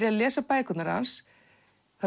er að lesa bækurnar hans